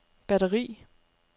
batteri